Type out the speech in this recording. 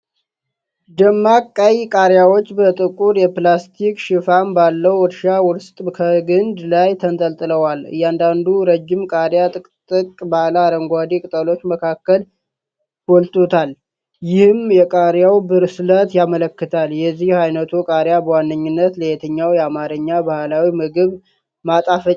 ደማቅ ቀይ ቃሪያዎች በጥቁር የፕላስቲክ ሽፋን ባለው እርሻ ውስጥ ከግንድ ላይ ተንጠልጥለዋል። እያንዳንዱ ረጅም ቃሪያ ጥቅጥቅ ባለ አረንጓዴ ቅጠሎች መካከል ጎልቱታል፤ ይህም የቃሪያው ብስለት ያመለክታል። የዚህ ዓይነቱ ቃሪያ በዋነኛነት ለየትኛው የአማርኛ ባህላዊ ምግብ ማጣፈጫነት ያገለግላል?